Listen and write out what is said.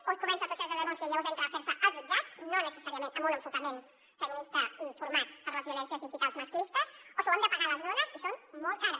o es comença el procés de denúncia i llavors entra a fer se als jutjats no necessàriament amb un enfocament feminista i format per a les violències digitals masclistes o s’ho han de pagar les dones i són molt cars